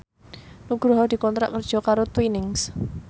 Nugroho dikontrak kerja karo Twinings